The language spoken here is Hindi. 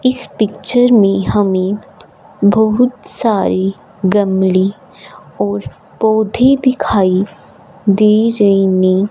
इस पिक्चर में हमें बहुत सारे गमली और पौधे दिखाई दे रहे ने ।